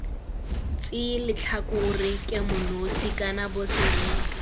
tseye letlhakore kemonosi kana boseriti